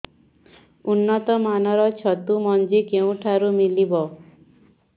ଉନ୍ନତ ମାନର ଛତୁ ମଞ୍ଜି କେଉଁ ଠାରୁ ମିଳିବ